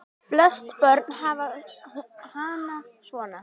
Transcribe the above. Flest börn hafa hana svona